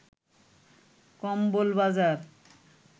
কম্বল বাজার